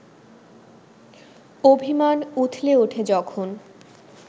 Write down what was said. অভিমান উথলে ওঠে যখন